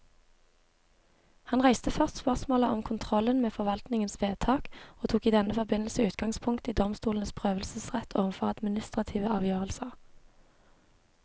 Han reiste først spørsmålet om kontrollen med forvaltningens vedtak, og tok i denne forbindelse utgangspunkt i domstolenes prøvelsesrett overfor administrative avgjørelser.